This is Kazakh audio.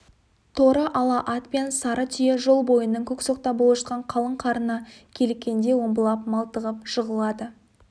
торы ала ат пен сары түйе жол бойының көксоқта болып жатқан қалың қарына киліккенде омбылап малтығып жығылады